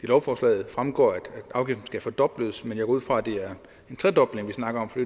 lovforslaget fremgår at afgiften skal fordobles men jeg går ud fra at det er en tredobling vi snakker om for